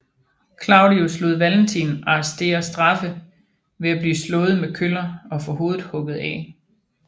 Claudius lod Valentin arrestere straffe ved at blive slået med køller og få hovedet hugget af